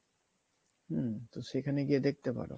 হম তো সেখানে গিয়ে দেখতে পারো